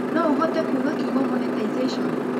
no ũhote kuuga kiugo monetization